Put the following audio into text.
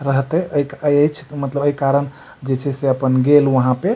रहते ए के ए एच्छ मतलब ए कारण जे छै गेल वहां पे।